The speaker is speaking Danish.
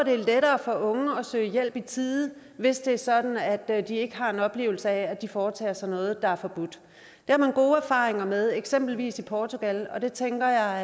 er lettere for unge at søge hjælp i tide hvis det er sådan at de ikke har en oplevelse af at de foretager sig noget der er forbudt det har man gode erfaringer med eksempelvis i portugal det tænker